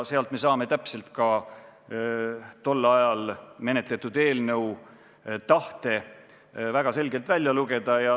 Sellest me saame tol ajal menetletud eelnõus kajastunud tahte väga selgelt välja lugeda.